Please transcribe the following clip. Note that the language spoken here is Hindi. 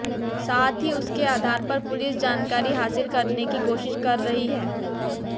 साथ ही उसके आधार पर पुलिस जानकारी हासिल करने की कोशिश कर रही है